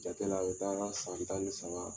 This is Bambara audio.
Jate la o taara san tan ni saba